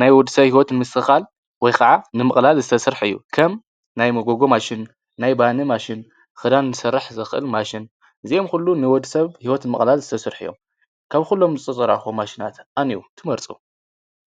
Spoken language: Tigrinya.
ናይ ወደሰብ ሂወት ንምስትክካል ወይ ከዓ ንምቅላል ዝተስርሐ እዩ። ከም ናይ መጎጎ ማሽን፣ ናይ ባኒ ማሽን፣ ክዳን ክስርሕ ዝክእል ማሽን፣ እዚኦም ኩሎም ንወድሰብ ሂወት ንምቅላል ዝተስርሑ እዩም ።ካብ ኩሎም ዝተፀርሑ መሽን አየነኦም ትመርፁ?